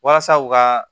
Walasa u ka